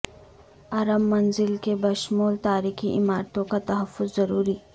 ارم منزل کے بشمول تاریخی عمارتوں کا تحفظ ضروری